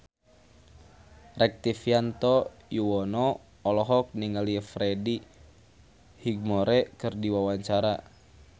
Rektivianto Yoewono olohok ningali Freddie Highmore keur diwawancara